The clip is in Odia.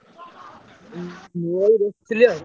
ମୁଁ ଏଇ ବସିଥିଲି ଆଉ।